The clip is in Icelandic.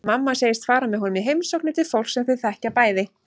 Mamma segist fara með honum í heimsóknir til fólks sem þau þekkja bæði.